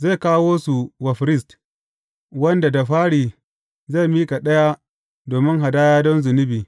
Zai kawo su wa firist, wanda da fari zai miƙa ɗaya domin hadaya don zunubi.